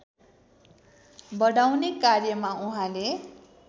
बढाउने कार्यमा उहाँले